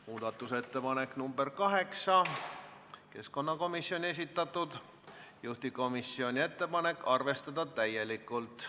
Muudatusettepanek nr 8 on keskkonnakomisjoni esitatud, juhtivkomisjoni ettepanek on arvestada täielikult.